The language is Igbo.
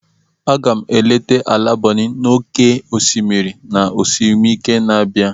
Aga m eleta ala Bonny n'oké osimiri na ezumike na-abịa.